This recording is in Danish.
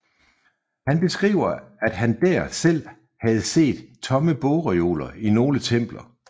Han beskriver at han dér selv havde set tomme bogreoler i nogle templer